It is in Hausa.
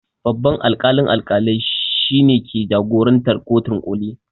Babban alƙalin alƙalai shine ke jagorantar kotun ƙoli